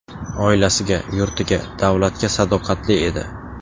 Oilasiga, yurtiga, davlatga sadoqatli edi.